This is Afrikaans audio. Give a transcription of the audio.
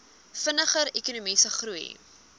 vinniger ekonomiese groei